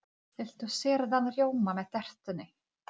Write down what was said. Mér finnst gaman að tefla í Keflavík.